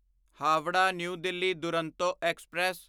Howrah New Delhi Duronto express